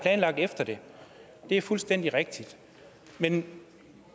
efter det det er fuldstændig rigtigt men